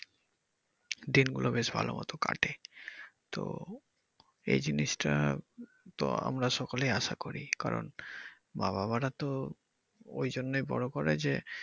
দিনগুলো বেশ ভালোমত কাটে তো এই জিনিস টা তো আমরা সকলে আশা করি কারন বাবা-মারা তো ওই জন্যই বড় করে যে,